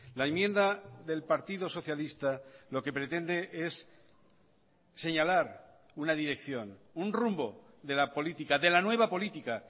la enmienda del partido socialista lo que pretende es señalar una dirección un rumbo de la política de la nueva política